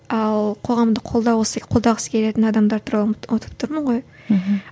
ал қоғамды қолдау осы қолдағысы келетін адамдар туралы ұмытып тұрмын ғой мхм